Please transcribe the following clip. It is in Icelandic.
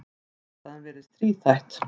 Ástæðan virðist þríþætt.